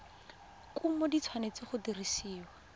kumo di tshwanetse go dirisiwa